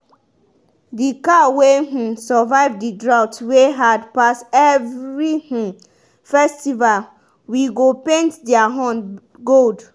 the cow wey um survive the drought wey hard pass every um festival we go paint their horn gold.